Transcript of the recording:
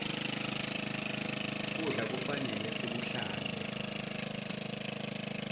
kudla kufanele sikuhlante